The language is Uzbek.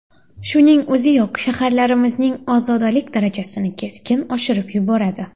Shuning o‘ziyoq shaharlarimizning ozodalik darajasini keskin oshirib yuboradi.